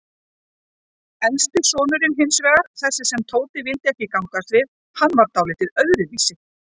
Elsti sonurinn hinsvegar, þessi sem Tóti vildi ekki gangast við, hann var dáldið öðruvísi.